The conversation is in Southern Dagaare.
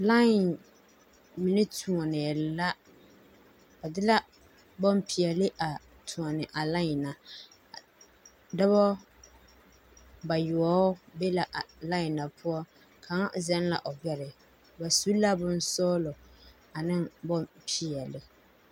Lai mine toɔnɛɛ la bade la bompeɛle mine toɔne a lain a dɔbɔ bayoɔbo be la lain a poɔ kaŋa zɛla o gabɛre. bas u la bonsɔgelɔ ane bomeɔle.